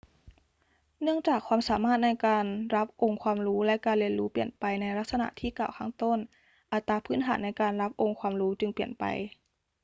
เนื่องจากความสามารถในการรับองค์ความรู้และการเรียนรู้เปลี่ยนไปในลักษณะที่กล่าวข้างต้น อัตราพื้นฐานในการรับองค์ความรู้จึงเปลี่ยนไป